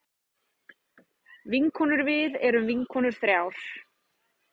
Vinkonurvið erum vinkonur þrjár.